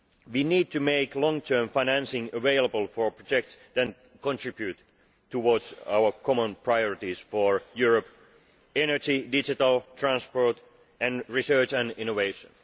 We need to make long term financing available for projects that contribute towards our common priorities for Europe energy, digital, transport, and research and innovation.